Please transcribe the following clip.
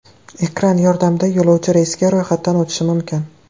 Ekran yordamida yo‘lovchi reysga ro‘yxatdan o‘tishi mumkin.